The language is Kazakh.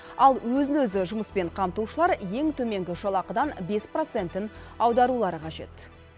ал өзін өзі жұмыспен қамтушылар ең төменгі жалақыдан бес процентін аударулары қажет